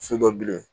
So dɔ bilen